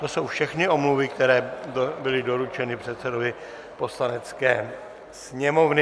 To jsou všechny omluvy, které byly doručeny předsedovi Poslanecké sněmovny.